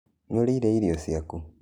Nĩũrĩĩre irio cĩakũ?